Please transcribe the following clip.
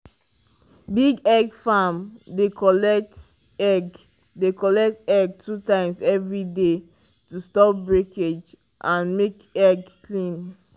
big egg farm dey collect egg dey collect egg two times every day to stop breakage and make egg clean.